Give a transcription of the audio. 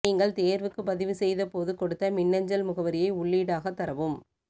நீங்கள் தேர்வுக்கு பதிவு செய்த போது கொடுத்த மின்னஞ்சல் முகவரியை உள்ளீடாக தரவும்